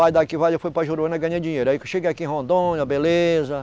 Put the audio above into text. Aí daqui eu fui para Juruena ganhei dinheiro, aí que eu cheguei aqui em Rondônia, beleza.